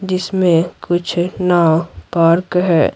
जिसमें कुछ नाव पार्क है।